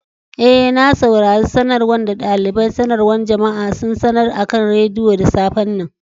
Eh, na saurare sanarwan da dalibain sanarwa jama'a sun sanar akan radiyo da safe'n nan.